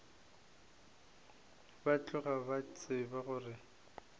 ba tloga ba tseba gore